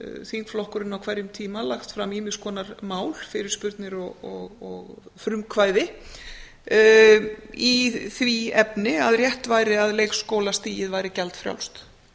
þingflokkurinn á hverjum tíma lagt fram ýmis konar mál fyrirspurnir og frumkvæði í því efni að rétt væri að leikskólastigið væri gjaldfrjálst